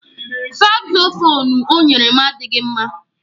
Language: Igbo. Sakzofuunu o nyere m adịghị mma